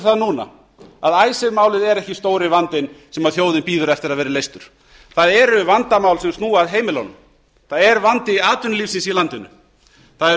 það núna að icesave málið er ekki stóri vandinn sem þjóðin bíður eftir að verði leystur það eru vandamál sem snúa að heimilunum það er vandi atvinnulífsins í landinu það eru